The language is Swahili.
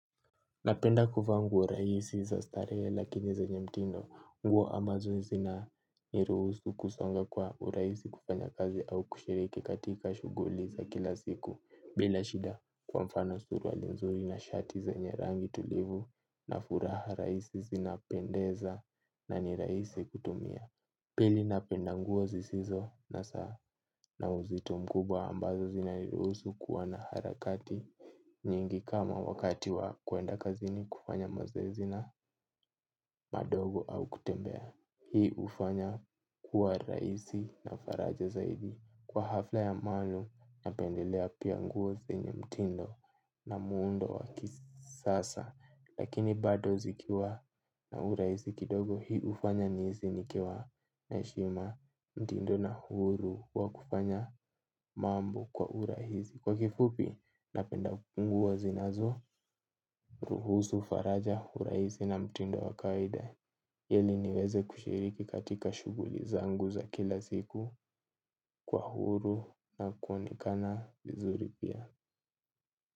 Napenda kuvaa nguo rahisi za starehe lakini zenye mtindo nguo ambazo zina niruhusu kusonga kwa urahisi kufanya kazi au kushiriki katika shughuli za kila siku. Bila shida kwa mfano suruali nzuri na shati zenye rangi tulivu na furaha rahisi zinapendeza na ni rahisi kutumia. Pili napenda nguo zisizo na saa na uzito mkubwa ambazo zinaniruhusu kuwa na harakati. Nyingi kama wakati wa kuenda kazini kufanya mazoezi na madogo au kutembea. Hii hufanya kuwa rahisi na faraja zaidi. Kwa hafla ya maalum napendelea pia nguo zenye mtindo na muundo wa kisasa. Lakini bado zikiwa na urahisi kidogo hii hufanya nihisi nikiwa na heshima mtindo na huru. Kwa kufanya mambo kwa urahisi kwa kifupi, napenda nguo zinazo, ruhusu, faraja, urahisi na mtindo wa kawaida, ili niweze kushiriki katika shughuli zangu za kila siku kwa huru na kuonekana vizuri pia.